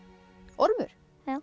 Ormur